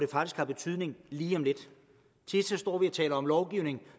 faktisk får betydning lige om lidt tit står vi og taler om lovgivning